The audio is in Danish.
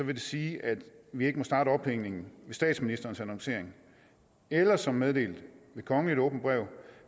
det sige at vi ikke må starte ophængningen ved statsministerens annoncering eller som meddelt ved kongeligt åbent brev